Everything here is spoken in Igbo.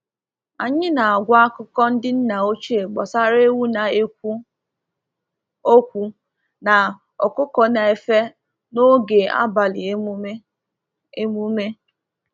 Anyị na-agwa akụkọ ndị nna ochie gbasara ewu na-ekwu okwu na ọkụkọ na-efe n’oge abalị emume. emume.